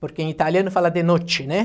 Porque em italiano fala de Noce, né?